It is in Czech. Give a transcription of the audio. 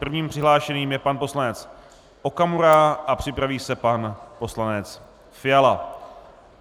Prvním přihlášeným je pan poslanec Okamura a připraví se pan poslanec Fiala.